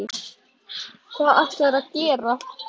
Hvað ætlarðu þá að gera?